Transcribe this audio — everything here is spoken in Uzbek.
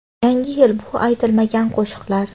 Yangi yil- bu aytilmagan qo‘shiqlar.